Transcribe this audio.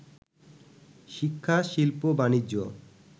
শিক্ষা, শিল্প, বাণিজ্য